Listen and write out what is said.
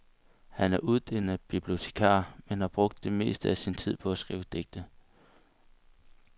Han er uddannet bibliotekar, men har brugt det meste af sin tid på at skrive digte.